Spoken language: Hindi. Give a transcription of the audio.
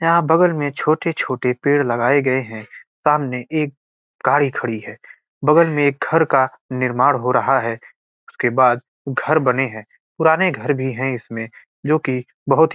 यहाँ बगल में छोटे-छोटे पेड़ लगाये गए हैं। सामने एक गाड़ी खड़ी है बगल में एक घर का निर्माण हो रहा है उसके बाद घर बने हुए हैं पुराने घर भी इसमें जो कि बोहत ही --